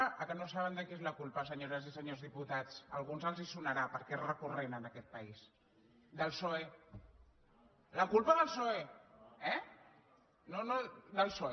ah que no saben de qui és la culpa senyores i senyors diputats a alguns els sonarà perquè és recurrent en aquest país del psoe la culpa del psoe eh no no